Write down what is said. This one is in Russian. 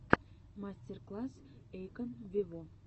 мастер класс эйкон вево